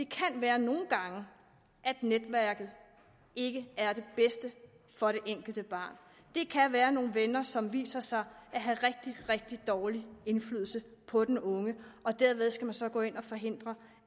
kan være nogle gange at netværket ikke er det bedste for det enkelte barn det kan være nogle venner som viser sig at have rigtig rigtig dårlig indflydelse på den unge og dermed skal man så gå ind at forhindre